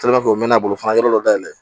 u mɛna bolo fana an yɔrɔ dɔ dayɛlɛ